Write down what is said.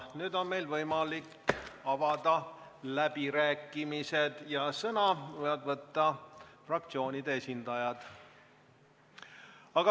Nüüd on meil võimalik avada läbirääkimised, sõna võivad võtta fraktsioonide esindajad.